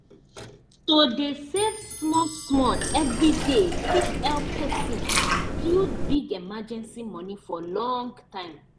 to dey save small small every day fit help person build big emergency moni for long time